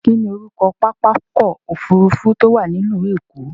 Kí ni orúkọ pápákọ̀ òfurufú tó wà ní ìlú Èkó?